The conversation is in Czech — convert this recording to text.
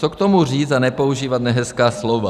Co k tomu říct a nepoužívat nehezká slova?